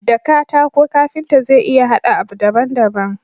Da katako kanfita zai iya hada abu daban daban